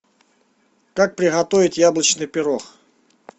как приготовить яблочный пирог